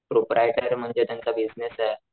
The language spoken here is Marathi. प्रोप्रायटर म्हणजे त्यांचा बिसनेसे